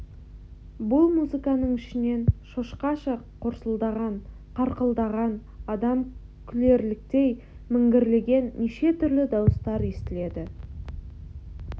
бұл музыканың ішінен шошқаша қорсылдаған қарқылдаған адам күлерліктей міңгірлеген неше түрлі дауыстар естіледі